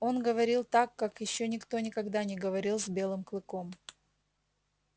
он говорил так как ещё никто никогда не говорил с белым клыком